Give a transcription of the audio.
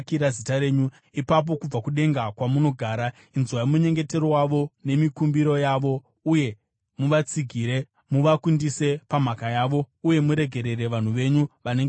ipapo kubva kudenga, kwamunogara, inzwai munyengetero wavo nemikumbiro yavo uye muvatsigire muvakundise pamhaka yavo. Uye muregerere vanhu venyu vanenge vakutadzirai.